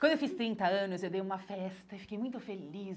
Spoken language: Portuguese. Quando eu fiz trinta anos, eu dei uma festa e fiquei muito feliz.